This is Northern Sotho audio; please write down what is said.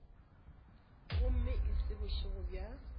gomme e se bošego bja